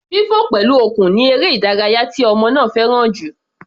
Fífọ̀ pẹ̀lú okùn ni eré ìdárayá tí ọmọ náà fẹ́ràn jù.